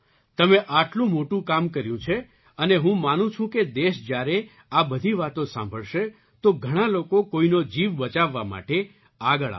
તમે આટલું મોટું કામ કર્યું છે અને હું માનું છું કે દેશ જ્યારે આ બધી વાતો સાંભળશે તો ઘણા લોકો કોઈનો જીવ બચાવવા માટે આગળ આવશે